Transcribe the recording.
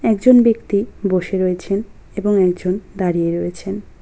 একজন ব্যক্তি বসে রয়েছেন এবং একজন দাঁড়িয়ে রয়েছেন।